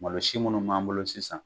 Malosi minnu b'an bolo sisan.